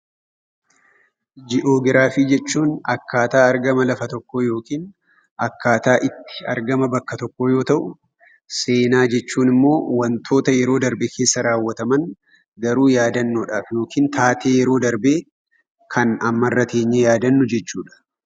Gii'oogiraafii jechuun akkaataa argama lafa tokkoo akkaataa itti argama bakka tokkoo yoo ta'u, seenaa jechuun immoo wantoota yeroo darbe keessa raawwataman garuu yaadannoodhaaf yookiin taatee yeroo darbee kan ammarra teenyee yaadannu jechuudha.